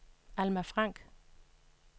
Alma Frank